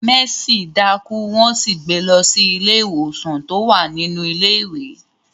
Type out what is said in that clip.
Mercy daku won sì gbé lọ sí ilé ìwòsan ti o wa nínú ilé ìwé.